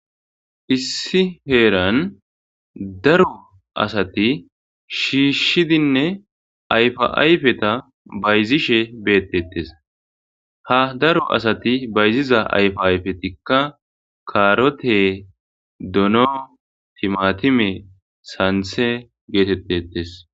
issi heeran daro asati shiishshidinne ayfa7ayfeta bayzishe beettetes ha daro asati bayziza ayfa ayfetikka kaarote dono timatime santhe geetettetes